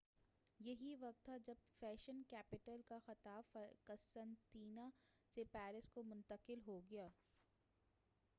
یہی وقت تھا جب فیشن کیپٹل کا خطاب قسطنطنیہ سے پیرس کو منتقل ہو گیا